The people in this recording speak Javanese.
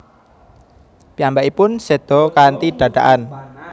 Piyambakipun séda kanthi dadakan